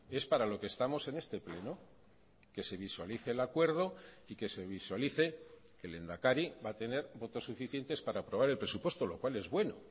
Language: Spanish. es para lo que estamos en este pleno que se visualice el acuerdo y que se visualice que el lehendakari va a tener votos suficientes para aprobar el presupuesto lo cual es bueno